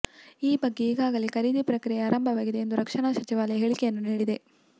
ಈ ಬಗ್ಗೆ ಈಗಾಗಲೇ ಖರೀದಿ ಪ್ರಕ್ರಿಯೆ ಆರಂಭವಾಗಿದೆ ಎಂದು ರಕ್ಷಣಾ ಸಚಿವಾಲಯ ಹೇಳಿಕೆಯನ್ನು ನೀಡಿದೆ